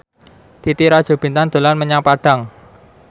Titi Rajo Bintang dolan menyang Padang